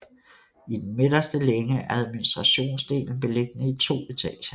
I den midterste længe er administrationsdelen beliggende i to etager